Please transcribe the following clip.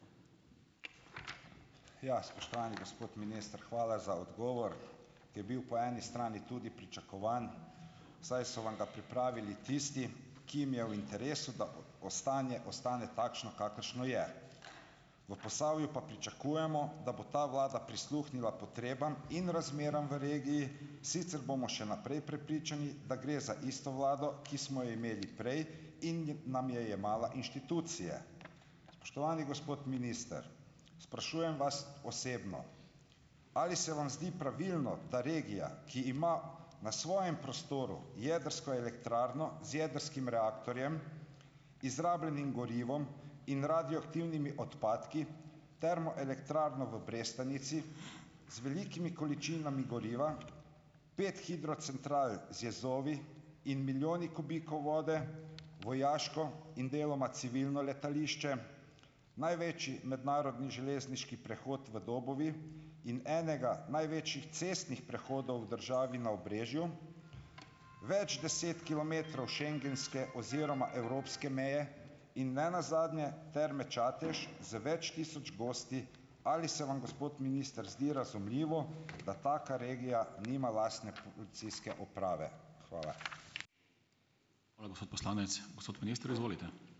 Ja, spoštovani gospod minister, hvala za odgovor. Je bil po eni strani tudi pričakovan, saj so vam ga pripravili tisti, ki jim je v interesu, da stanje ostane takšno, kakršno je. V Posavju pa pričakujemo, da bo ta vlada prisluhnila potrebam in razmeram v regiji, sicer bomo še naprej prepričani, da gre za isto vlado, ki smo jo imeli prej in je nam jemala inštitucije. Spoštovani gospod minister, sprašujem vas osebno, ali se vam zdi pravilno, da regija, ki ima na svojem prostoru jedrsko elektrarno z jedrskim reaktorjem, izrabljenim gorivom in radioaktivnimi odpadki, termoelektrarno v Brestanici z velikimi količinami goriva, pet hidrocentral z jezovi in milijoni kubikov vode, vojaško in deloma civilno letališče, največji mednarodni železniški prehod v Dobovi in enega največjih cestnih prehodov v državi na Obrežju, več deset kilometrov schengenske oziroma evropske meje in ne nazadnje Terme Čatež z več tisoč gosti, ali se vam, gospod minister, zdi razumljivo, da taka regija nima lastne policijske uprave? Hvala.